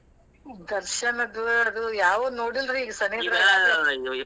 ದರ್ಶನದ್ವು ಅದು ಯಾವೂ ನೋಡಿಲ್ರಿ ಈಗ .